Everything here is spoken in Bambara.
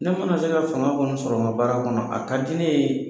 Ne mana se ka fanga kɔni sɔrɔ ŋa baara kɔnɔ a ka di ne ye